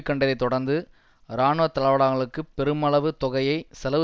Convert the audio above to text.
கண்டதைத் தொடர்ந்து இராணுவ தளவாடங்களுக்குப் பெருமளவு தொகையை செலவு